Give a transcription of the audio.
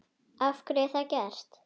Af hverju er það gert?